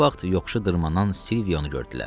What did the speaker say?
Bu vaxt yoxuşu dırmanan Silvionu gördülər.